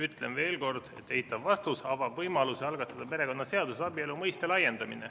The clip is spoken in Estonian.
Ütlen veel kord: eitav vastus avab võimaluse algatada perekonnaseaduses abielu mõiste laiendamine.